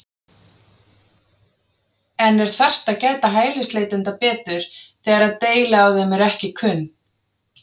En er þarft að gæta hælisleitenda betur þegar að deili á þeim eru ekki kunn?